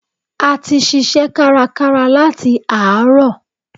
A ti ṣiṣẹ́ kárakára láti àárọ̀.